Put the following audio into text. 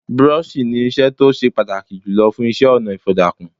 Búrọ́ọ̀ṣì ni irinṣẹ́ tó ó se pàtàkì jùlọ fún iṣẹ́-ọnà ìfọ̀dàkùn.